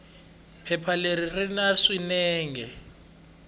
phepha leri ri na swiyenge